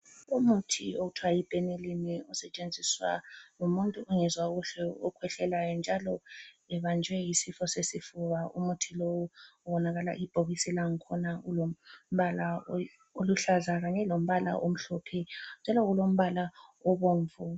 Umuthi okuthwa yi Benylin usetshenziwa ngumuntu ongezwa kuhle okhwehlelayo njalo ebanjwe yisifo sesifuba. Umuthi lo ubonakala ibhokisi langkhona lilombala oluhlaza kanye lombala omhlophe njalo kulombala obomvu.